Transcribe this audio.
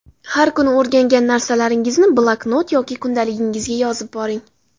Har kuni o‘rgangan narsalaringizni bloknot yoki kundaligingizga yozib boring.